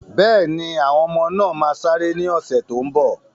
Bẹ́ẹ̀ni, àwọn ọmọ náà máa sáré ní ọ̀sẹ̀ tó n bọ̀